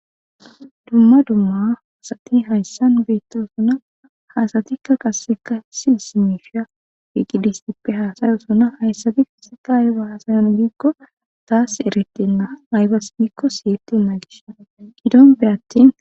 Dumma dumma asati hayssan beettosuna hasatikka qasseka silsimifiya wiiqidistippe haasayosuna hayssati fisika ayaga hasayan biikko taas eretenna aybas biikko siyettenna gish gidonpe attin.